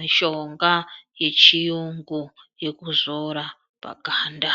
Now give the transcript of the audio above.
mishonga yechiyungu yekuzora paganda.